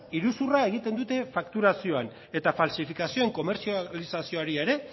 iruzurra egiten dute fakturazioan eta faltsifikazioen komertzializazioari ere